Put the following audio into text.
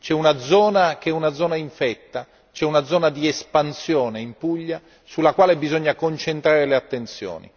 C'è una zona che è una zona infetta, c'è una zona di espansione in Puglia sulla quale bisogna concentrare le attenzioni.